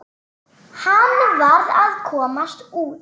Hann varð að komast út.